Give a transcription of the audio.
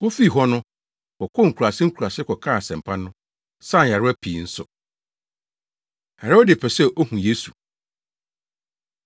Wofii hɔ no, wɔkɔɔ nkuraase nkuraase kɔkaa asɛmpa no, saa nyarewa pii nso. Herode Pɛ Sɛ Ohu Yesu